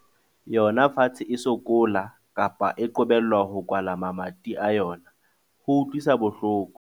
yona fatshe e sokola, kapa e qobellwa ho kwala mamati a yona, ho utlwisa bohloko.